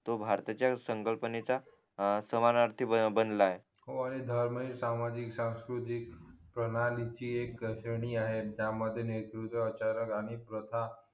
तो भारताच्या संकलपणेचा अं समानआर्थि बनला आहे हो आणि धर्म ही सामाजिक सांस्कृती प्रणालीची एक श्रणी आहे त्यामध्ये नेतृत्व आचारात आणि प्रथा